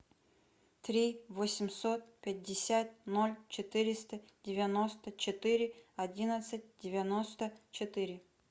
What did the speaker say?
три восемьсот пятьдесят ноль четыреста девяносто четыре одиннадцать девяносто четыре